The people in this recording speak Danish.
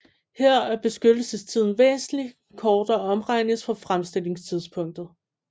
Her er beskyttelsestiden væsentlig kortere om regnes fra fremstillingstidspunktet